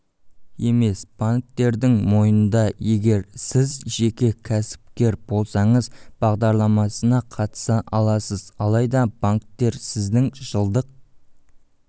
емес банктердің мойнында егер сіз жеке кәсіпкер болсаңыз бағдарламасына қатыса аласыз алайда банктер сіздің жылдық